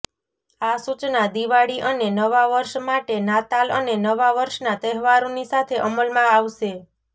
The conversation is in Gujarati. આ સૂચના દિવાળી અને નવા વર્ષ માટે નાતાલ અને નવા વર્ષના તહેવારોની સાથે અમલમાં આવશે